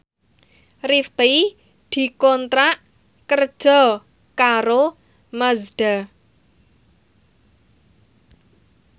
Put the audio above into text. Rifqi dikontrak kerja karo Mazda